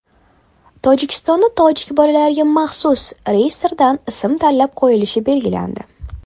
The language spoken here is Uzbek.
Tojikistonda tojik bolalariga maxsus reyestrdan ism tanlab qo‘yilishi belgilandi.